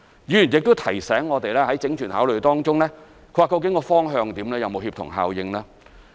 議員亦提醒我們，在整全考慮中究竟方向如何、有沒有協同效應。